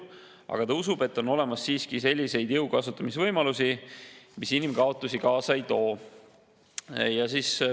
Aga ta usub, et on olemas siiski selliseid jõu kasutamise võimalusi, mis inimkaotusi kaasa ei too.